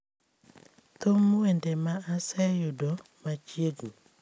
thum wende ma aseyudo machiegni